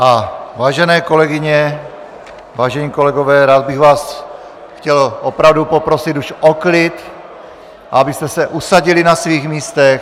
A vážené kolegyně, vážení kolegové, rád bych vás chtěl opravdu poprosit už o klid, abyste se usadili na svých místech.